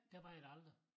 Der var jeg der aldrig